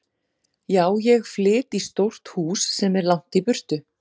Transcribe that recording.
Já, ég flyt í stórt hús sem er langt í burtu.